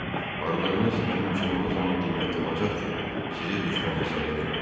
Parlığınız mənim üçün o zaman qiymətli olacaq ki, sizi düşmən hesab eləməyəcəm.